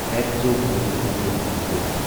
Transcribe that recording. Akzo Nobel India limited